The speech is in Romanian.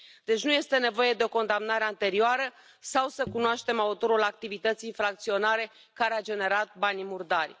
Deci nu este nevoie de o condamnare anterioară sau să cunoaștem autorul activității infracționale care a generat banii murdari.